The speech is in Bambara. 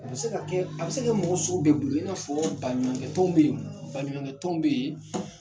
A be se ka kɛ a be se ka mɔgɔ sugu bɛɛ bunte i n'a fɔ baɲumankɛ tonw be yen baɲumankɛ tɔnw be yen